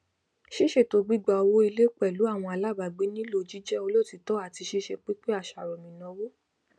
ṣísètò gbígba owó ilé pẹlú àwọn alábàágbé nílò jíjẹ olotiitọ ati sise pínpín àṣàròmìnáwó